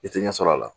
I tɛ ɲɛsɔrɔ a la